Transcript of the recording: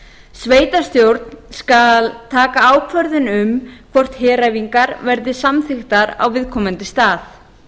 sveitarstjórn skal taka ákvörðun um hvort heræfingar verði samþykktar á viðkomandi stað